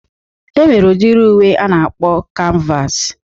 E nwere udiri uwe a na-akpọ kanvas